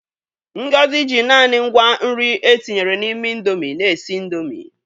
Ngozi ji naanị ngwa nri e tinyere n'ime Indomi na-esi Indomi.